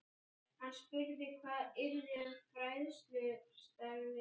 Hann spurði hvað yrði um fræðslustarfið.